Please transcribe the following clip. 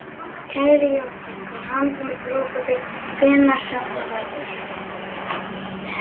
Kæri Jónatan, til hamingju með brúðkaupið, hvenær sem það verður.